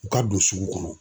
U ka don sugu kɔnɔ.